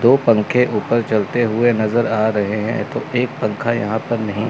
दो पंखे ऊपर चलते हुए नजर आ रहे हैं तो एक पंखा यहां पर नहीं--